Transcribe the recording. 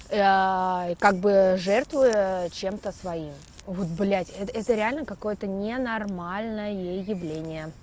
как бы жертвуя чем-то своим вот блядь это это реально какое-то ненормальное явление